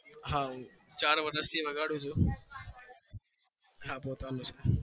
હા હું ચાર વર્ષ થી વગાડું છુ